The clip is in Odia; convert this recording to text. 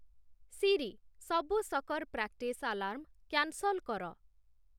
ସିରି, ସବୁ ସକର୍‌ ପ୍ରାକ୍ଟିସ୍‌ ଆଲାର୍ମ୍‌ କ୍ୟାନ୍‌ସଲ୍‌ କର